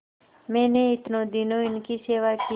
मैंने इतने दिनों इनकी सेवा की